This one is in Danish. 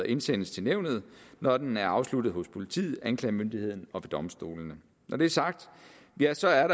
indsendes til nævnet når den er afsluttet hos politiet anklagemyndigheden og domstolene når det er sagt ja så er